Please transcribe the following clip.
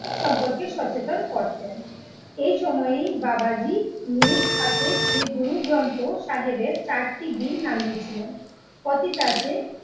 সম্পর্কে সচেতন করতেন, এই সময়েই বাবাজি নিজ হাতে শ্রী গুরু গ্রন্থসাহেবের চারটি বীর নামিয়েছিলেন। কথিত আছে